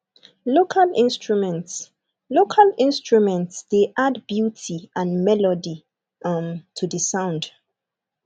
local instruments local instruments de add beauty and melody um to the sound